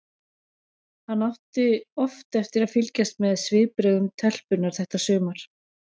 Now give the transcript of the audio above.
Hann átti oft eftir að fylgjast með svipbrigðum telpunnar þetta sumar.